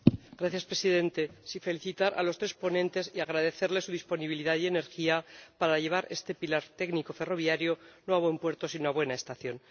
Señor Presidente, quiero felicitar a los tres ponentes y agradecerles su disponibilidad y energía para llevar este pilar técnico ferroviario no a buen puerto, sino a buena estación.